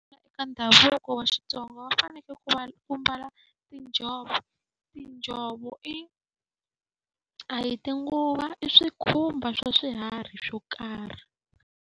ndhavuko wa Xitsonga va fanekele ku va ku mbala tinjhovo. Tinjhovo i a hi tinguvo, i swikhumba swa swiharhi swo karhi.